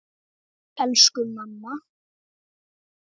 Sæl elsku amma.